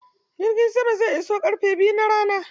Jirgin sama zai iso ƙarfe biyu na rana.